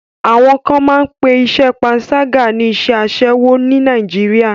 Àwọn kan máa pé iṣẹ́ panṣágà ní iṣẹ́ aṣẹ́wo ní Nàìjíríà.